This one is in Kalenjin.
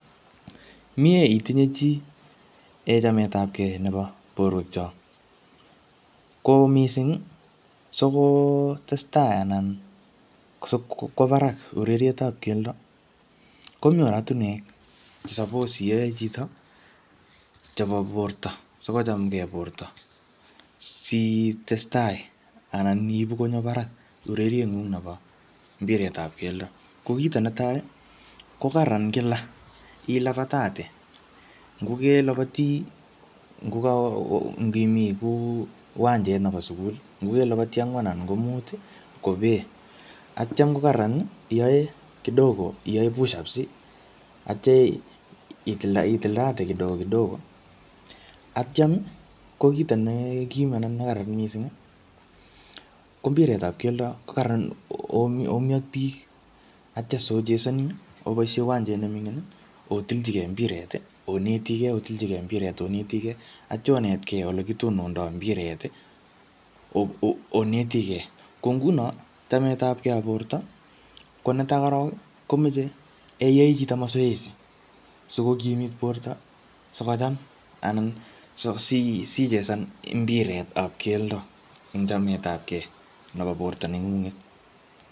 Miee itinye chii en chametapkei nebo borwek chok. Ko missing, sikotestai anan sikwo barak urerietap keldo, komii oratunwek che suppose iyae chito chebo borto, sikochamgei borto. Sitestai anan iibu konyo barak ureriet ngung nebo mpiretap keldo. Ko kito netai, ko kararan kila ilabatate. Nguke labati, ngokaa ngimi kuu uwnajet nobo sukul, ngokelabati angwan anan ko mut, kopee. Atyam ko kararan iyae kidogo, iyae pushups, atya itilda-itildate kidogo kidogo. Atyam ko kito nekiim anan ne kararan missing, ko mbiretap keldo, ko kararan omii-omii ak biik. Atya sochesani oboisie uwanjet nemingin, otilchikei mbiret, onetigey, otilchikei mbiret onetigey. Atya onetgei ole kitonondoi mbiret, oetigei. Ko nguno, chametapgey ap borto, ko netai korok, komeche yo iyae chito mazoezi, sikokimit borto sikocham. Anan si-sichesan mbiret ap keldo eng chametapke nebo borto neng'ung'et